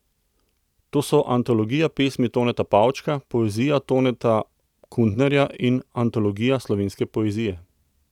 To so antologija pesmi Toneta Pavčka, poezija Toneta Kuntnerja in antologija slovenske poezije.